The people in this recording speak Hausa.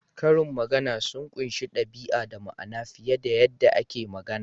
Karin magana sun ƙunshi ɗabi'a da ma'ana fiye da yadda ake magana.